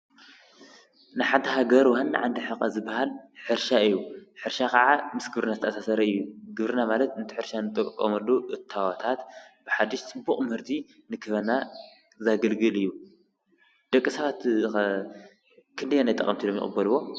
ንሓንቲ ሃገር ወናን ዕንዲ ሕቐ ዝበሃል ሕርሻ እዩ። ሕርሻ ኸዓ ምስ ግብርና ዝተኣሳሰረ እዩ። ግብርና ማለት እንቲ ሕርሻ ን ጠቀመሉ እታዋታት ብሓድሽ ፅቡቕ ምህርቲ ንክበና ዛግልግል እዩ። ደቂ ሰባትኸ ክንደይ ናይ ጠቐምቲ ኢሎም ይቕበልዎ?